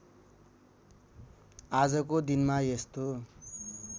आजको दिनमा यस्तो